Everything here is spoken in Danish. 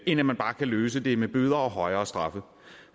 end at man bare kan løse det med bøder og højere straffe